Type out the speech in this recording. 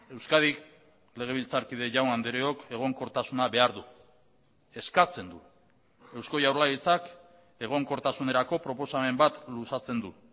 euskadik legebiltzarkide jaun andreok egonkortasuna behar du eskatzen du eusko jaurlaritzak egonkortasunerako proposamen bat luzatzen du